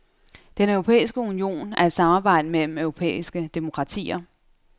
Den europæiske union er et samarbejde mellem europæiske demokratier.